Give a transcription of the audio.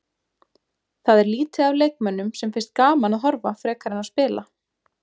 Það er lítið af leikmönnum sem finnst gaman að horfa frekar en að spila.